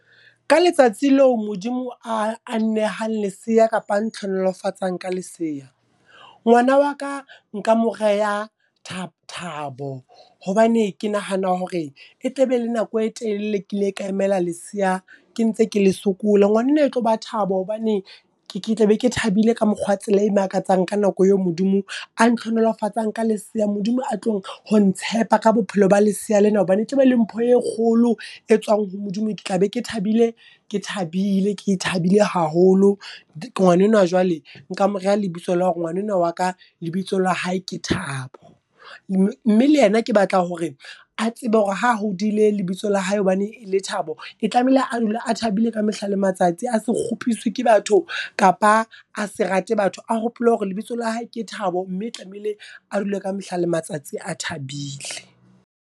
Ka letsatsi leo Modimo a nnehang leseya kapa a nthlonolofatsang ka lesea. Ngwana wa ka nka mo reha Thabo hobane ke nahana hore e tla be le nako e telele ke ile ka emela leseya ke ntse ke le sokola. Ngwana enwa e tlo ba Thaba hobane ke ke tla be ke thabile ka mokgwa tsela e makatsang ka nako eo Modimo a nthlonolofatsang ka lesea. Modimo a tlong ho ntshepa ka bophelo ba lesea lena hobane e tla be le mpho e kgolo e tswang ho Modimo. Ke tla be ke thabile, ke thabile, Ke thabile haholo ngwana enwa jwale nka mo reha lebitso la hore ngwana enwa wa ka lebitso la hae ke thabo. Mme le yena ke batla hore a tsebe hore ha hodile lebitso la hae hobane e le Thabo. E tlamehile a dula a thabile ka mehla le matsatsi a se kgopiswe ke batho kapa a se rate batho, a hopole hore lebitso la hae ke Thabo, mme tlamehile a dule ka mehla le matsatsi a thabile.